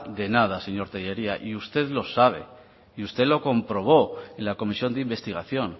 de nada señor tellería usted lo sabe y usted lo comprobó en la comisión de investigación